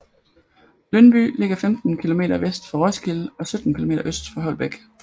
Lyndby ligger 15 kilometer vest for Roskilde og 17 kilometer øst for Holbæk